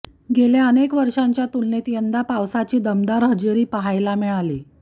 गेल्या अनेक वर्षांच्या तुलनेत यंदा पावसाची दमदार हजेरी पाहायलमा मिळाली